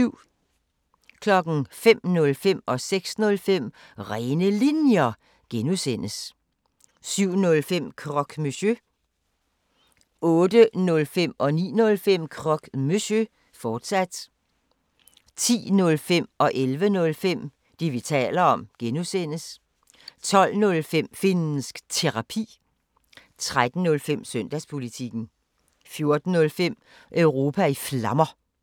05:05: Rene Linjer (G) 06:05: Rene Linjer (G) 07:05: Croque Monsieur 08:05: Croque Monsieur, fortsat 09:05: Croque Monsieur, fortsat 10:05: Det, vi taler om (G) 11:05: Det, vi taler om (G) 12:05: Finnsk Terapi 13:05: Søndagspolitikken 14:05: Europa i Flammer